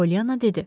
Poliana dedi.